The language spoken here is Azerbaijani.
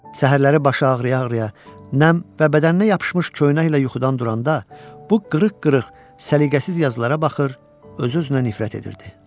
Səhərləri başı ağrıya-ağrıya nəmli və bədəninə yapışmış köynəklə yuxudan duranda bu qırıq-qırıq səliqəsiz yazılara baxır, öz-özünə nifrət edirdi.